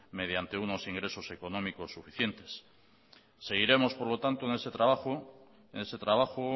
mediante unos ingresos económicos suficientes seguiremos por lo tanto en ese trabajo